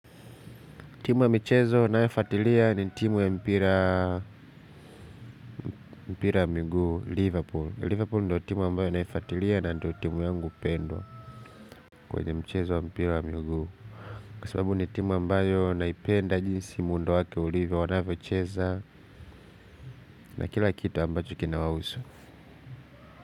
Timu ya michezo ninayofuatilia ni timu ya mpira. Mpira wa Muguu, Liverpool. Liverpool ndo timu ambayo ninayofuatilia na ndo timu yangu pendwa kwenye michezo ya Mpira Muguu. Kwa sababu ni timu ambayo naipenda jinsi muundo wake ulivyo wanavyo cheza na kila kitu ambacho kina wahusu.